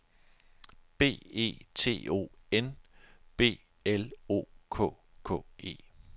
B E T O N B L O K K E